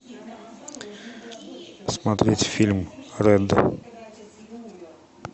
смотреть фильм рэд